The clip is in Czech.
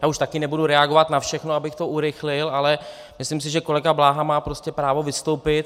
Já už také nebudu reagovat na všechno, abych to urychlil, ale myslím si, že kolega Bláha má prostě právo vystoupit.